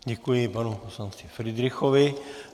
Děkuji panu poslanci Fridrichovi.